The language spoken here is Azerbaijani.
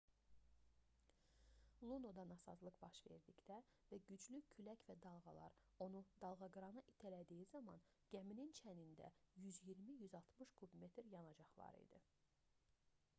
lunoda nasazlıq baş verdikdə və güclü külək və dalğalar onu dalğaqırana itələdiyi zaman gəminin çənində 120-160 kub metr yanacaq var idi